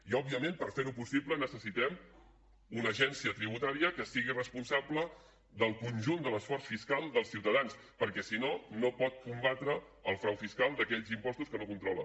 i òbviament per fer ho possible necessitem una agència tributària que sigui responsable del conjunt de l’esforç fiscal dels ciutadans perquè si no no pot combatre el frau fiscal d’aquells impostos que no controla